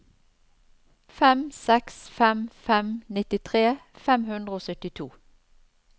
fem seks fem fem nittitre fem hundre og syttito